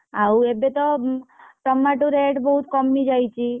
ଆଉ ଏବେ ତ tomato rate ବହୁତ୍ କମି ଯାଇଛି।